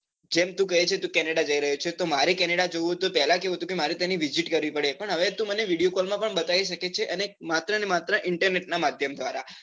જેમ તું કહે છે તું કેનેડા જઈ રહ્યો છે તો મારે કેનેડા જવું હોય તો પેલા કેવું હતું કે મારે તેની visit કરવી પડે પણ હવે તું મને video call માં પણ બતાવી સકે છે અને માત્ર ને માત્ર internet નાં માધ્યમ ધ્વારા